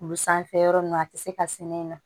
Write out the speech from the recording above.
Kulo sanfɛ yɔrɔ ninnu a tɛ se ka sɛnɛ in na